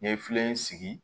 N ye filen sigi